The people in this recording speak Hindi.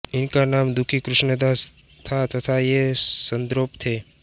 इनका नाम दुखी कृष्णदास था तथा ये सद्गोप थे